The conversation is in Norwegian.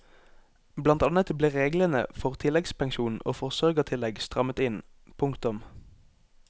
Blant annet ble reglene for tilleggspensjon og forsørgertillegg strammet inn. punktum